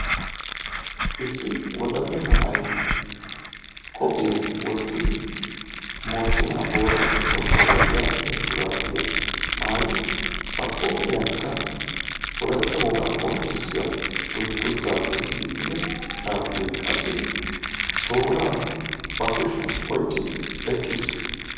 Issi wodalla na"ay qophiya wottidi moochchenaa booraago gonggoluwa yaagiya shuraabiya maayidi ba qooriyankka ooratta wogaa qonccissiya dungguzzaappe giigida sharbbiya qachchidi tooraa ba kushiyan oyiqqidi eqqis.